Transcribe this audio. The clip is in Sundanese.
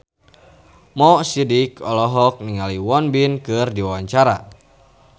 Mo Sidik olohok ningali Won Bin keur diwawancara